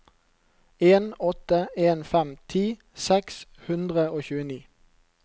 en åtte en fem ti seks hundre og tjueni